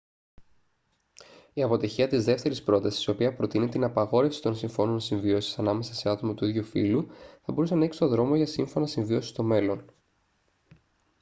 η αποτυχία της δεύτερης πρότασης η οποία προτείνει την απαγόρευση των συμφώνων συμβίωσης ανάμεσα σε άτομα του ίδιου φύλου θα μπορούσε να ανοίξει τον δρόμο για σύμφωνα συμβίωσης στο μέλλον